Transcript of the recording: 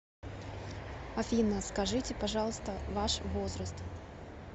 афина скажите пожалуйста ваш возраст